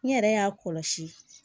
N yɛrɛ y'a kɔlɔsi